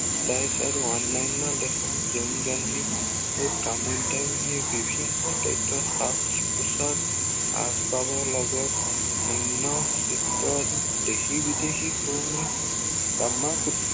nice আৰু অন্য়ান্য় দেশৰ যৌনগন্ধি ও বিভিন্ন তথ্য়ত সাজ পোচাক আচবাবৰ লগত নিম্ন চিত্ত দেশী বিদেশীকৈ কামসূত্ৰ